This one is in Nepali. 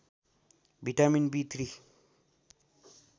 vitamin B three